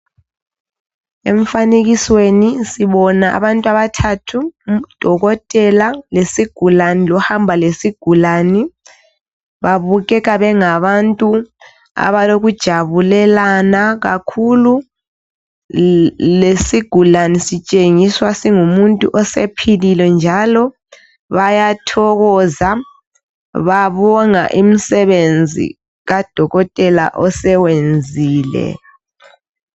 Emfanekisweni sibona abantu abathathu. Udokotela lesigulani lohamba lesigulani. Babukeka bengabantu abalokujabulelana kakhulu. Lesigulani laso sitshengiswa singumuntu osephilile, njalo bayathokoza, babonga umsebenzi kadokotela asewenzile.